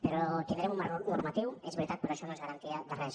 però tindrem un marc normatiu és veritat però això no és garantia de res